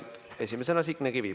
Esimesena Signe Kivi.